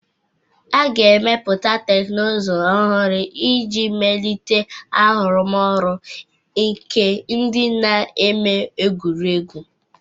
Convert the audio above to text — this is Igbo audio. A ga-emepụta teknụzụ ọhụrụ iji melite arụmọrụ nke ndị na-eme egwuregwu.